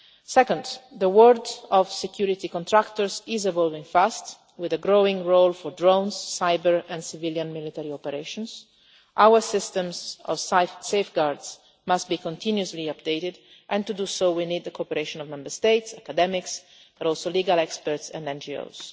Second, the work of security contractors is evolving fast, with a growing role for drones, cyber and civilian military operations. Our systems of safeguards must be continuously updated and we therefore need the cooperation not only of Member States and academics but also of legal experts and NGOs.